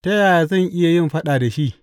Ta yaya zan iya yin faɗa da shi?